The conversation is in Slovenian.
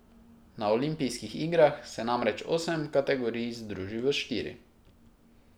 Na olimpijskih igrah se namreč osem kategorij združi v štiri.